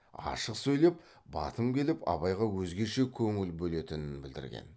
ашық сөйлеп батым келіп абайға өзгеше көңіл бөлетінін білдірген